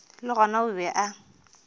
le gona o be a